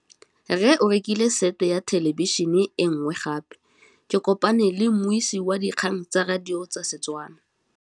Rre o rekile sete ya thêlêbišênê e nngwe gape. Ke kopane mmuisi w dikgang tsa radio tsa Setswana.